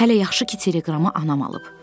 Hələ yaxşı ki, teleqramı anam alıb.